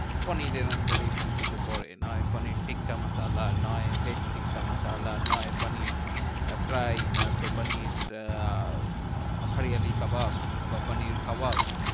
পনিরের under এই সবকিছু পরে। নয় পানির টিক্কা মাসালা, নয় veg টিক্কা মাসালা, নয় পানির আহ fry, নয়তো পানির আহ হরিয়ালি কাবাব বা পানির কাবাব।